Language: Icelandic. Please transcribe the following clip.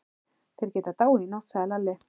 Þeir geta dáið í nótt, sagði Lalli.